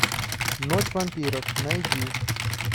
ночь вампиров найди